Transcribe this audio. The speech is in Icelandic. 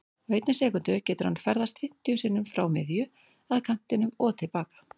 Á einni sekúndu getur hann ferðast fimmtíu sinnum frá miðju, að kantinum og til baka.